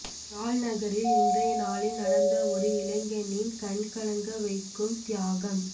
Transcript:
யாழ் நகரில் இன்றைய நாளில் நடந்த ஒரு இளைஞனின் கண்கலங்க வைக்கும் தியாகம்